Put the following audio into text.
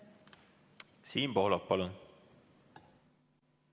Siim Pohlak, palun!